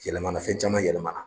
Yɛlɛma na fɛn caman yɛlɛma na.